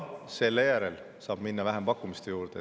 Seejärel saab minna vähempakkumiste juurde.